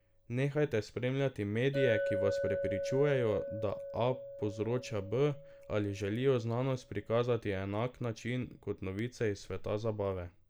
Nehajte spremljati medije, ki vas prepričujejo, da A povzroča B, ali želijo znanost prikazati na enak način kot novice iz sveta zabave.